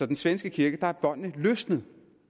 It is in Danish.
den svenske kirke er båndet løsnet